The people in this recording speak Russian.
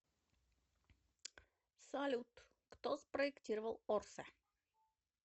салют кто спроектировал орсэ